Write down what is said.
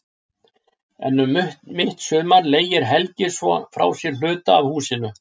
En um mitt sumar leigir Helgi svo frá sér hluta af húsinu.